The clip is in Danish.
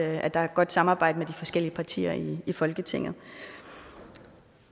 at der er et godt samarbejde mellem de forskellige partier i folketinget